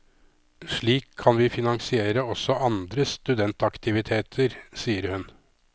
Slik kan vi finansiere også andre studentaktiviteter, sier hun.